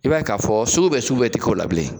I b'a ye k'a fɔ sugu bɛ sugu bɛ ti k'ola bilen